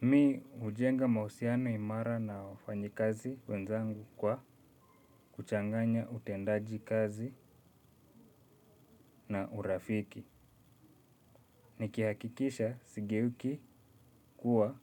Mi ujenga mausiano imara na wafanyi kazi wenzangu kwa kuchanganya utendaji kazi na urafiki. Nikihakikisha sigeuki kuwa